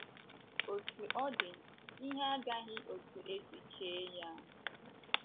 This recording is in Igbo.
Otú ọ dị, ihe agaghị otú e si chee ya..